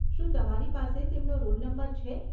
શું તમારી પાસે તેમનો રોલ નંબર છે?